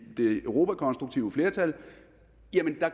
europakonstruktive flertal